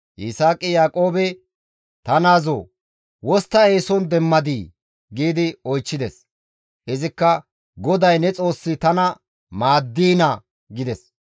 Yisaaqi Yaaqoobe, «Ta naazoo! Wostta eeson demmadii?» gi oychchides. Izikka, «GODAY ne Xoossi tana maaddiina» gides.